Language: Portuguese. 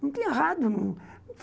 Não tinha rádio.